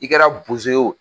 I kɛra bozo ye wo